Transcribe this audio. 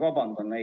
Vabandust!